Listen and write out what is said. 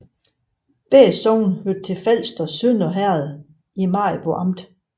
Begge sogne hørte til Falsters Sønder Herred i Maribo Amt